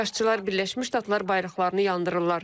İxşşçılar Birləşmiş Ştatlar bayraqlarını yandırırlar.